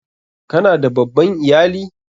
Ka na da babban iyali?